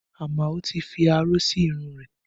Amao tí fi aró sí irun rẹ̀